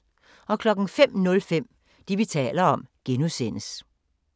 05:05: Det, vi taler om (G)